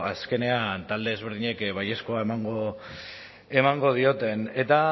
azkenean talde ezberdinek baiezkoa emango dioten eta